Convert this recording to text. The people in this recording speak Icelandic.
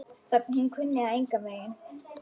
Hún kunni það engan veginn.